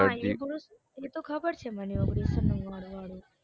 હા એતો ખબર છે મને ઓગણીસો નવ્વાણું વાળું